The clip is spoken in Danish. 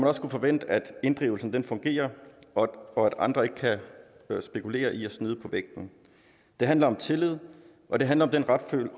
også kunne forvente at inddrivelsen fungerer og at andre ikke kan spekulere i at snyde på vægten det handler om tillid og det handler om den